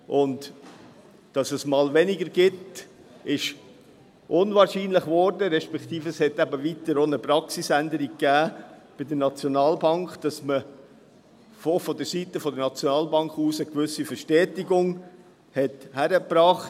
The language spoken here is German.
Dass es einmal weniger gibt, wurde unwahrscheinlich, respektive gab es eben auch eine Praxisänderung bei der Schweizerischen Nationalbank (SNB), sodass man vonseiten der SNB eine gewisse Verstetigung hinbekam.